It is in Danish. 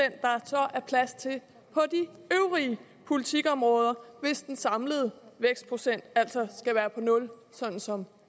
er plads til på de øvrige politikområder hvis den samlede vækstprocent altså skal være nul sådan som